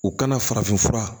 U kana farafin fura